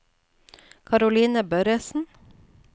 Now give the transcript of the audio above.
Karoline Børresen